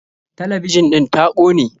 Talabijin ɗin ta kone.